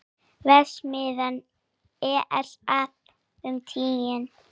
Vefsíða ESA um Títan.